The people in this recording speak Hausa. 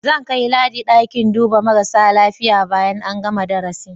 Zan kai Ladi ɗakin duba marasa lafiya bayan an gana darasin.